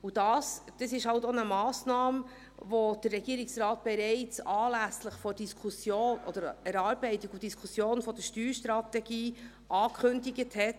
Und dies ist halt auch eine Massnahme, die der Regierungsrat bereits anlässlich der Erarbeitung und Diskussion der Steuerstrategie angekündigt hat.